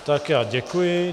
Tak já děkuji.